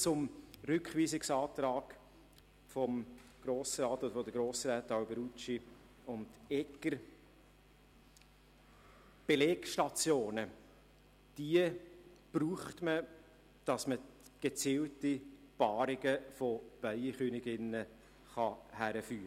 Zum Rückweisungsantrag der Grossräte Alberucci und Egger: Belegstationen braucht man, um gezielte Paarungen von Bienenköniginnen herbeizuführen.